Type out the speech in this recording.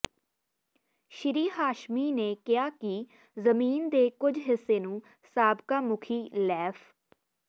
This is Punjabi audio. ਸ੍ਰੀ ਹਾਸ਼ਮੀ ਨੇ ਕਿਹਾ ਕਿ ਜ਼ਮੀਨ ਦੇ ਕੁਝ ਹਿੱਸੇ ਨੂੰ ਸਾਬਕਾ ਮੁਖੀ ਲੈਫ